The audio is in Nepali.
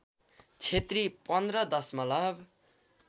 क्षेत्री १५ दशमलव